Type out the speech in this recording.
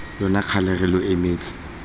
lona kgale re lo emetse